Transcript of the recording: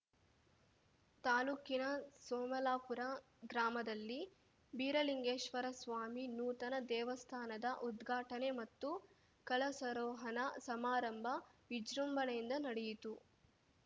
ತಾಲೂಕಿನ ಸೋಮಲಾಪುರ ಗ್ರಾಮದಲ್ಲಿ ಬೀರಲಿಂಗೇಶ್ವರ ಸ್ವಾಮಿ ನೂತನ ದೇವಸ್ಥಾನದ ಉದ್ಘಾಟನೆ ಮತ್ತು ಕಳಸಾರೋಹಣ ಸಮಾರಂಭ ವಿಜೃಂಭಣೆಯಿಂದ ನಡೆಯಿತು